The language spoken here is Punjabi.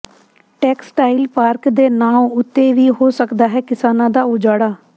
ਟੈਕਸਟਾਈਲ ਪਾਰਕ ਦੇ ਨਾਂਅ ਉੱਤੇ ਵੀ ਹੋ ਸਕਦਾ ਹੈ ਕਿਸਾਨਾਂ ਦਾ ਉਜਾੜਾ